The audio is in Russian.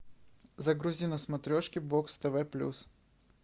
загрузи на смотрешке бокс тв плюс